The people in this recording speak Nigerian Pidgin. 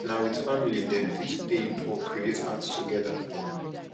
if na with family dem fit pain or create art together